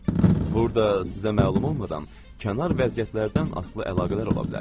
Burada sizə məlum olmadan kənar vəziyyətlərdən asılı əlaqələr ola bilər.